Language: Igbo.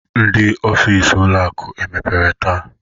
Ndị ọfịs ụlọ akụ emepere taa?